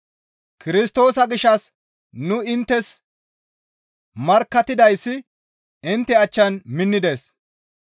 Kirstoosa gishshas nu inttes markkattidayssi intte achchan minnides.